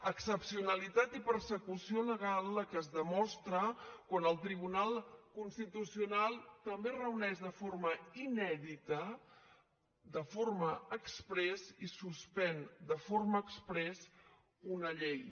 excepcionalitat i persecució legal la que es demostra quan el tribunal constitucional també es reuneix de forma inèdita de forma exprés i suspèn de forma exprés una llei